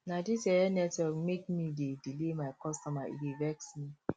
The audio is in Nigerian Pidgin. na dis yeye network make me dey delay my customer e dey vex me